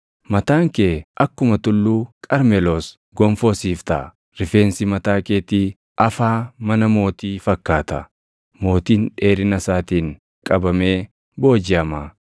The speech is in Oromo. Mataan kee akkuma Tulluu Qarmeloos gonfoo siif taʼa. Rifeensi mataa keetii afaa mana mootii fakkaata; mootiin dheerina isaatiin qabamee boojiʼama.